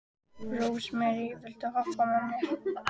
Rósmary, viltu hoppa með mér?